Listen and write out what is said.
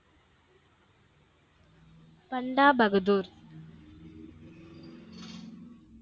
Banda Bahadur